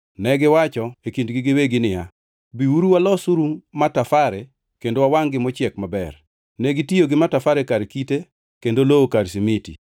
Negiwacho e kindgi giwegi niya, “Biuru walosuru matafare kendo wawangʼ-gi mochiek maber.” Negitiyo gi matafare kar kite kendo lowo kar simiti.